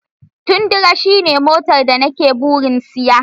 Tundra shine motar da ni ke burin siya.